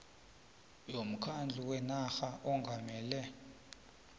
yomkhandlu wenarha ongamele